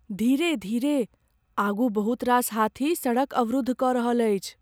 धीरे धीरे। आगू बहुत रास हाथी सड़क अवरुद्ध कऽ रहल अछि।